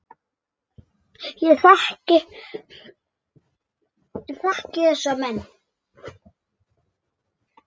Ég þekki þessa menn.